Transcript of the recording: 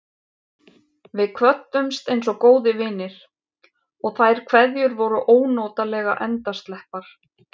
Við kvöddumst einsog góðir vinir, og þær kveðjur voru ónotalega endasleppar.